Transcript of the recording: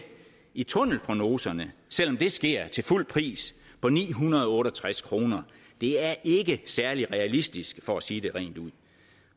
i tunnelprognoserne selv om det sker til fuld pris på ni hundrede og otte og tres kroner det er ikke særlig realistisk for at sige det rent ud